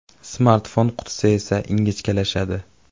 Smartfon qutisi esa ingichkalashadi.